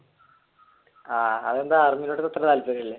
ആഹ് അതെന്താ ആർമിനോട് ഇത്ര താല്പര്യം ഇല്ലേ